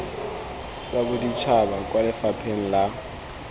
tsa boditšhaba kwa lefapheng la